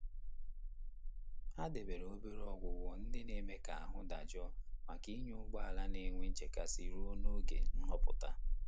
Ha debere obere ọgwụgwọ ndị na-eme ka ahụ́ dajụọ maka ịnya ụgbọ ala na-enwe nchekasị ruo n'oge nhọpụta.